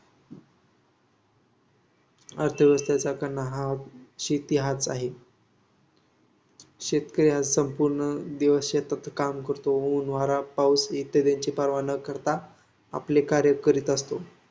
अर्थव्यवस्थेचा कणा हा शेती हाच आहे. शेतकरी हा संपूर्ण दिवस शेतात काम करतो. ऊन, वारा, पाऊस इत्यादींची पर्वा न करता आपले कार्य करीत असतो.